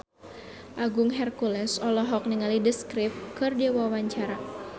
Agung Hercules olohok ningali The Script keur diwawancara